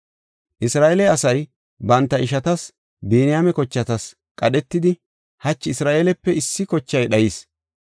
Isra7eele asay banta ishatas, Biniyaame kochatas qadhetidi, “Hachi Isra7eelepe issi kochay dhayis.